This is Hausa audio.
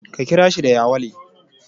Ka kira shi da yawale.